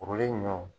Kurulen ɲɔ